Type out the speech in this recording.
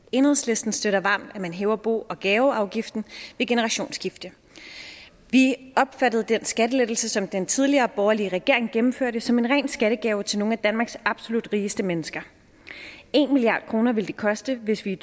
enhedslisten støtter varmt at man hæver bo og gaveafgiften ved generationsskifte vi opfattede den skattelettelse som den tidligere borgerlige regering gennemførte som en ren skattegave til nogle af danmarks absolut rigeste mennesker en milliard kroner vil det koste hvis vi i